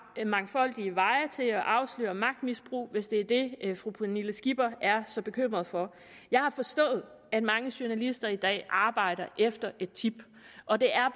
mangfoldige veje til at afsløre magtmisbrug hvis det er det fru pernille skipper er så bekymret for jeg har forstået at mange journalister i dag arbejder efter et tip og det er